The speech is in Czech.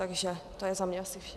Takže to je za mě asi vše.